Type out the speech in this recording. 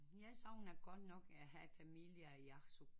Jeg savner godt nok at have familie i Absuq